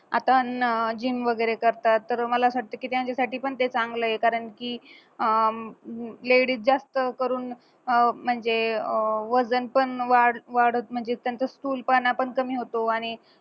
आता gym वगैरे करतात तर मला असं वाटतं की त्यांच्यासाठी पण ते चांगलं ये कारण की अं ladies जास्त करून अह म्हणजे अह वजन पण वाढ वाढत म्हणजेच त्यांचा स्थूलपणा पण कमी होतो आणि